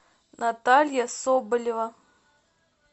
наталья соболева